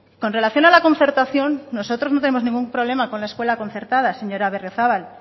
con relación a la concertación nosotros no tenemos ningún problema con la escuela concertada señora berriozabal